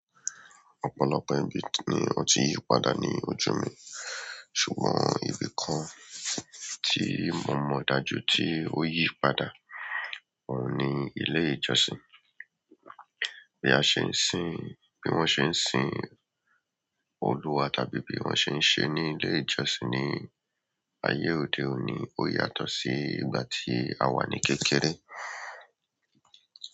Ọ̀pọ̀lọpọ̀ ibi ni o ti yí padà ní ojú mi, ṣùgbọ́n ibi kan tí mo mọ̀ dájú tí o yí padà oun ni ilé ìjọsìn. Bí a ṣe ń sìn, bí wọ́n ṣe ń sìn Oluwa tàbí bí wọ́n ṣe ń ṣe ní ilé ìjọsìn ní ayé òde òní ó yàtọ̀ sí ìgbà tí a wà ní kékeré.